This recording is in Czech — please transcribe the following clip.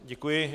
Děkuji.